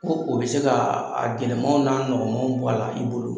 Ko o bi se ka a gɛlɛmaw n'a nɔgɔw bɔ a la i bolo